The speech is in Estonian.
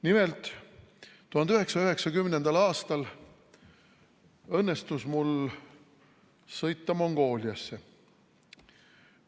Nimelt, 1990. aastal õnnestus mul sõita Mongooliasse.